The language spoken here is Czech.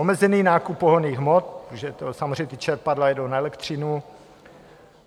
Omezený nákup pohonných hmot, protože samozřejmě ta čerpadla jedou na elektřinu.